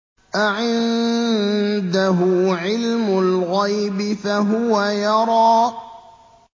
أَعِندَهُ عِلْمُ الْغَيْبِ فَهُوَ يَرَىٰ